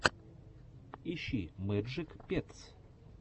ищи мэджик петс